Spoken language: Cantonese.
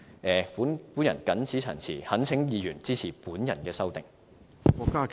我謹此陳辭，懇請議員支持我的修正案。